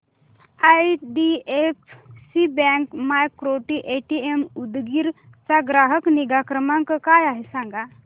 IDFC bank micro ATM Udgir चा ग्राहक निगा क्रमांक काय आहे सांगा